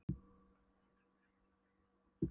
Hvernig geturðu verið hrifinn af mér? hvíslaði hún.